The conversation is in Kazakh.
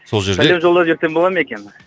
сол жерде сәлем жолдап жіберсем бола ма екен